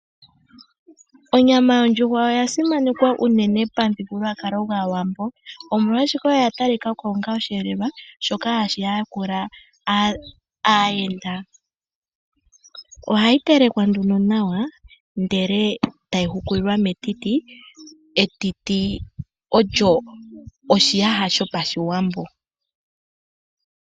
Onyama yondjuhwa oyasimanekwa unene pamuthigululwakalo gwAawambo omolwashoka oya talika ko onga osheelelwa shoka hashi yakula aayenda. Ohayi telekwa nduno nawa ndele tayi hukulilwa metiti, etiti olyo oshiyaha shopashiwambo.